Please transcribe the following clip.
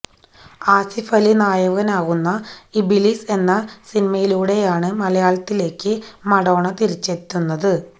ആസിഫ് അലി നായകനാവുന്ന ഇബിലിസ് എന്ന സിനിമയിലൂടെയാണ് മലയാളത്തിലേക്ക് മഡോണ തിരിച്ചെത്തുന്നത്